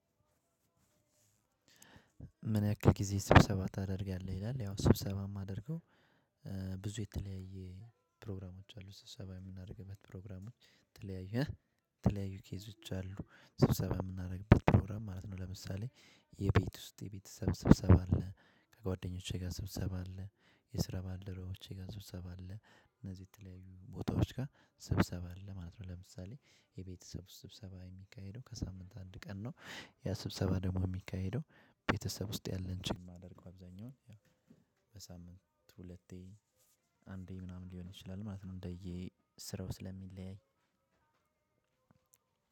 ምን ያክል ጊዜ ስብሰባ ታደርጋለህ? ይላል ያው ስብሰባ የማደርገው ብዙ የተለያየ ፕሮግራሞች አሉ ስብሰባ የምናደርግበት ፕሮግራሞች የተለያየ የተለያዩ ኬዞች አሉ ስብሰባ የምናደርግበት ፕሮግራም ማለት ነው ለምሳሌ የቤት ውስጥ የቤተሰብ ስብሰባ አለ ከጓደኞቼ ጋር ስብሰባ አለ የስራ ባልደረቦቼ ጋር ስብሰባ አለ እነዚህ የተለያዩ ቦታዎች ጋር ስብሰባ አለ ማለት ነው ለምሳሌ የቤተሰብ ስብሰባ የሚካሄደው ከሳምንት አንድ ቀን ነው ያ ስብሰባ ደግሞ የሚካሄደው ቤተሰብ ውስጥ ያለን ጭም አደርገው አብዛኛውን በሳምንት ሁለቴ አንዴ ምናምን ሊሆን ይችላል ማለት ነው እንደዬ ስራው ስለሚለያይ።